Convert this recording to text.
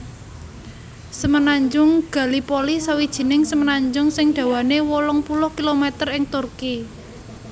Semenanjung Gallipoli sawijining semenanjung sing dawané wolung puluh kilometer ing Turki